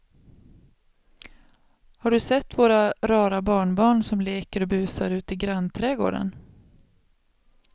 Har du sett våra rara barnbarn som leker och busar ute i grannträdgården!